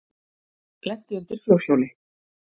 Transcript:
Lenti undir fjórhjóli